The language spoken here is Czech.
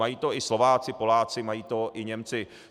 Mají to i Slováci, Poláci, mají to i Němci.